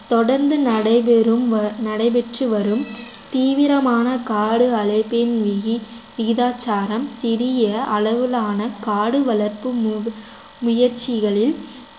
தொடர்ந்து நடைபெறும் வ~ நடைபெற்று வரும் தீவிரமான காடு அழைப்பின் மீது விகிதாச்சாரம் சிறிய அளவிலான காடு வளர்ப்பு மு~ முயற்சிகளில்